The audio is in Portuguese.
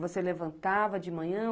Você levantava de manhã?